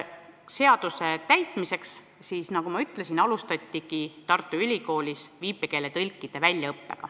Seaduse täitmiseks, nagu ma ütlesin, alustatigi Tartu Ülikoolis viipekeeletõlkide väljaõpet.